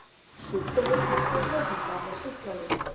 Sjúkdómurinn er svo meðhöndlaður með sýklalyfjum.